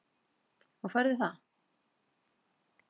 Og færðu það?